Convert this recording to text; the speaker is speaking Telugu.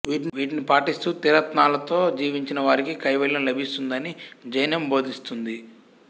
వీటిని పాటిస్తూ త్రిరత్నాలతో జీవించిన వారికి కైవల్యం లభిస్తుందని జైనం బోధిస్తుంది